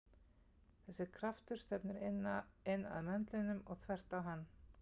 Þessi kraftur stefnir inn að möndlinum og þvert á hann.